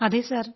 അതെ സർ